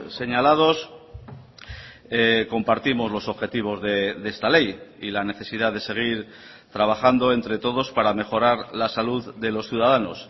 señalados compartimos los objetivos de esta ley y la necesidad de seguir trabajando entre todos para mejorar la salud de los ciudadanos